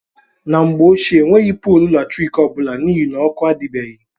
N' Mgbe Ochịe Enweghi Pọọlụ Latrịkị Ọbụla N' Ihi Na Ọkụ Adibeghi.